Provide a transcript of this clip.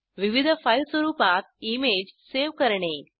विविध फाईल स्वरुपात image save करणे